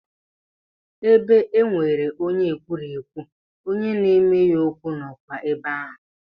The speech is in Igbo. Ebe e nwere onye ekwurekwu, onye na-eme ya okwu nọkwa ebe ahụ.